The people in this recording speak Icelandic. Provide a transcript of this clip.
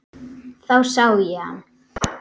Þá sá ég hann.